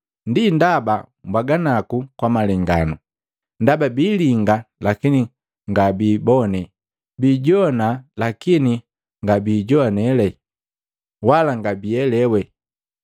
Ndi ndaba mbwaga naku kwa malenganu, ndaba biilinga lakini ngabiikibone, bijoane lakini ngabiijoane, wala ngabiielewe.